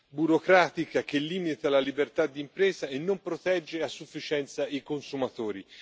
burocratica che limita la libertà di impresa e non protegge a sufficienza i consumatori.